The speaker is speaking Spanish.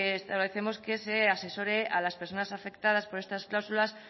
establecemos que se asesore a las personas afectadas por estas cláusulas